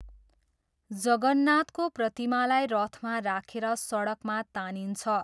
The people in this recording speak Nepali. जगन्नाथको प्रतिमालाई रथमा राखेर सडकमा तानिन्छ।